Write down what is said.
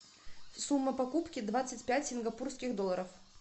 сумма покупки двадцать пять сингапурских долларов